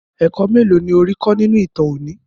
Ẹ̀kọ́ mélòó ni ó rí kọ́ nínú ìtàn òní?